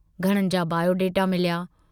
घणनि जा बॉयोडेटा मिलिया।